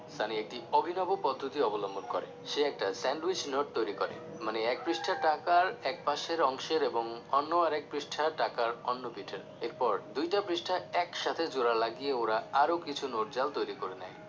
সানি একটি অভিনব পদ্ধতি অবলম্বন করে সে একটা sandwich নোট তৈরি করে মানে এক পৃষ্ঠার টাকার এক পাশের অংশের এবং অন্য আরেক পৃষ্ঠার টাকার অন্য পিঠের এরপর দুইটা পৃষ্টা একসাথে জোড়া লাগিয়ে ওরা আরও কিছু নোট জাল তৈরি করে নেয়